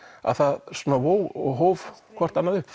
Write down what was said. að það vóg og hóf hvort annað upp